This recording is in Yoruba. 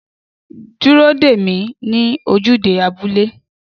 Dúró dè mí ní ojúde abúlé